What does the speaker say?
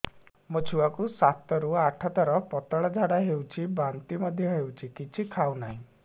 ମୋ ଛୁଆ କୁ ସାତ ରୁ ଆଠ ଥର ପତଳା ଝାଡା ହେଉଛି ବାନ୍ତି ମଧ୍ୟ୍ୟ ହେଉଛି କିଛି ଖାଉ ନାହିଁ